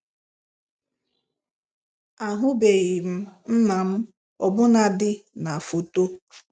Ahụbeghị m nna m, ọbụnadị na foto